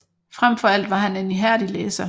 Frem for alt var han en ihærdig læser